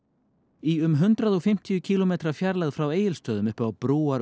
í um hundrað og fimmtán kílómetra fjarlægð frá Egilsstöðum uppi á